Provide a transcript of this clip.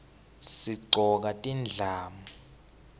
sigcoka tindlamu